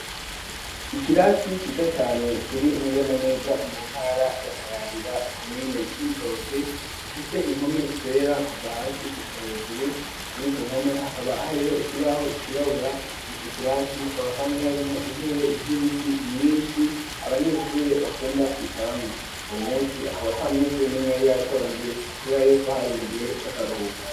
Ikirasi ciza cane kiri neza na neza mu ntara ya Kayanza komine ya Cibitoboke gifise impome zera kuva hasi gushika hejuru kuri izo mpome hakaba hariho ikibaho cirabura ico kirasi hakaba kandi hari mwo intebe z'ibiti nyishi abanyeshuri bakunda kwicaramwo uwo munsi akaba atamunyeshuri n'umwe yari yatonze kubera yuko hari mu gihe c'akaruhuko.